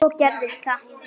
Svo gerðist það.